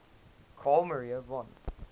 carl maria von